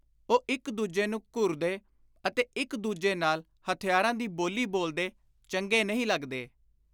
ਉਹ ਇਕ ਦੁਜੇ ਨੂੰ ਘੁਰਦੇ ਅਤੇ ਇਕ ਦੂਜੇ ਨਾਲ ਹਥਿਆਰਾਂ ਦੀ ਬੋਲੀ ਬੋਲਦੇ ਚੰਗੇ ਨਹੀਂ ਲੱਗਦੇ।